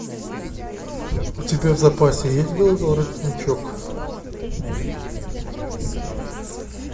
у тебя в запасе есть белый воротничок